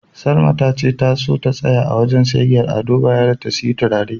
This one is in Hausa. Salma tace ta so ta tsaya a wajen siyayyar Ado Bayero ta siyi turare.